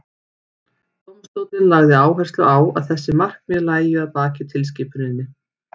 dómstóllinn lagði áherslu á að þessi markmið lægju að baki tilskipuninni